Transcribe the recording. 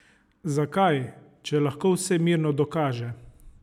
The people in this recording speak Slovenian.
Zakaj, če lahko vse mirno dokaže?